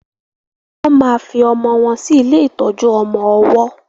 wón má fí ọmọ wón sí ilé ìtọjú ọmọ ọwó